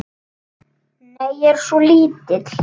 Nei, ég var svo lítil.